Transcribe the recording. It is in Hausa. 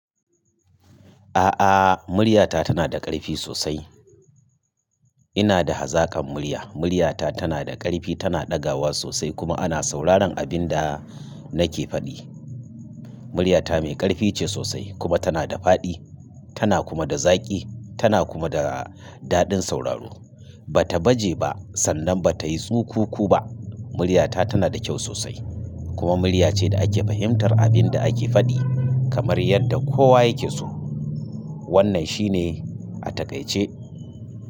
A'a, murya ta tana da ƙarfi sosai. Ina da hazakan murya. Murya ta tana da ƙarfi, tana ɗagawa sosai kuma ana sauraron abin da nake faɗi. Murya ta mai ƙarfi ce sosai kuma tana da faɗi, tana kuma da zaƙi, tana kuma da daɗin sauraro. Ba ta baje ba sannan ba ta yi tsukuku ba. Murya ta tana da kyau sosai kuma murya ce da ake fahimtar abin da ake faɗi kamar yadda kowa yake so. Wannan shi ne a takaice.